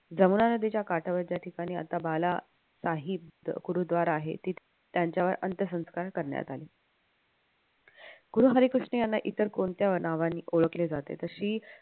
जमुना नदीच्या काठावर ज्या ठिकाणी आता बाला गुरुद्वार आहे त्यांच्यावर अंत्यसंस्कार करण्यात आले गुरु हरिकृष्ण यांना इतर कोणत्या नावाने ओळखले जाते. तर श्री